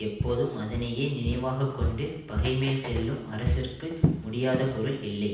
எப்போதும் அதனையே நினைவாக கொண்டு பகைமேல் செல்லும் அரசர்க்கு முடியாத பொருள் இல்லை